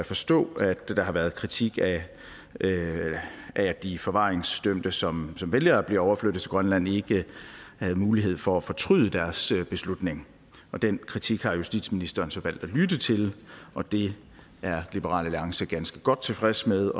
forstå at der har været kritik af at de forvaringsdømte som valgte at blive overflyttet til grønland ikke havde mulighed for at fortryde deres beslutning og den kritik har justitsministeren så valgt at lytte til og det er liberal alliance ganske godt tilfreds med